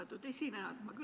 Austatud esineja!